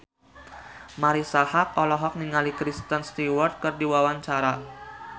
Marisa Haque olohok ningali Kristen Stewart keur diwawancara